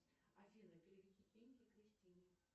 афина переведи деньги кристине